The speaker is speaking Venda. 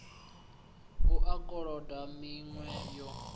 a u koloda miṋa yo